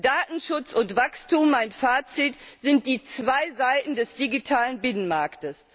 Datenschutz und Wachstum mein Fazit sind die zwei Seiten des digitalen Binnenmarkts.